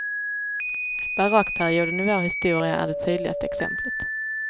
Barockperioden i vår historia är det tydligaste exemplet.